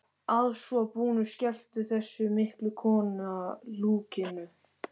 Að svo búnu skellti þessi mikla kona lokunni.